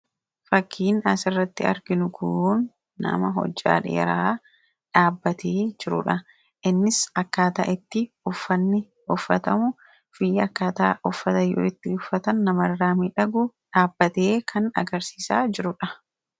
Fakkiin as irratti mul'atu kun nama hojjaa dheeraa dha. Innis dhaabbatee kan jiruu fi uffanni isaa haalaan kan miidhaguu dha.